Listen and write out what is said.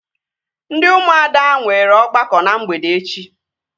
Ndị ụmụada nwere ọgbakọ na mgbede echi